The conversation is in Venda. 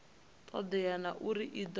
todea na uri i do